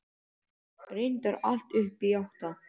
Reyndar allt upp í átta.